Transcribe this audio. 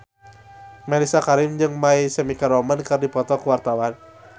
Mellisa Karim jeung My Chemical Romance keur dipoto ku wartawan